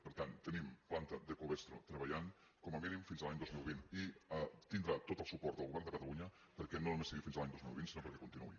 per tant tenim planta de covestro treballant com a mínim fins a l’any dos mil vint i tindrà tot el suport del govern de catalunya perquè no només sigui fins a l’any dos mil vint sinó perquè continuï